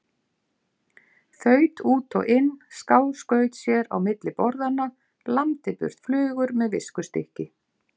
Þaut út og inn, skáskaut sér á milli borðanna, lamdi burt flugur með viskustykki.